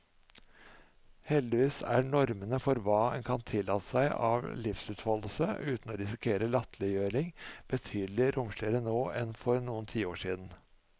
Heldigvis er normene for hva en kan tillate seg av livsutfoldelse uten å risikere latterliggjøring, betydelig romsligere nå enn for noen tiår siden.